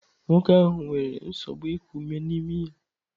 Nwoke ahụ nwere nsogbu iku ume na imi ya.